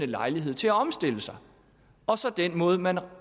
lejlighed til at omstille sig og så den måde man